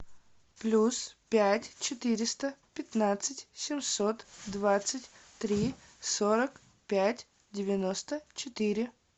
плюс пять четыреста пятнадцать семьсот двадцать три сорок пять девяносто четыре